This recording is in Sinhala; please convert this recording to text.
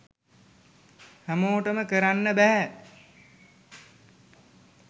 හැමෝටම කරන්න බැහැ.